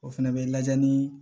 O fɛnɛ bɛ lajɛ ni